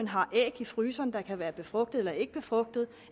har æg i fryseren der kan være befrugtede eller ikkebefrugtede